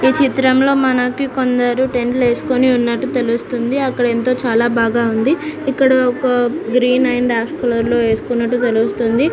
ఈ చిత్రంలో మనకు కొందరు టెంట్ లు వేసుకొని ఉన్నట్టు తెలుస్తుంది ఇక్కడ చాల బాగా ఉంది ఇక్కడ ఒక గ్రీన్ అండ్ యాష్ కలర్ లో వేసుకున్నట్టు ఉంది.